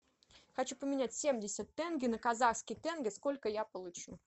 хочу поменять семьдесят тенге на казахский тенге сколько я получу